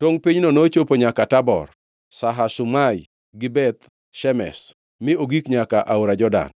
Tongʼ pinyno nochopo nyaka Tabor, Shahazuma gi Beth Shemesh, mi ogik nyaka aora Jordan.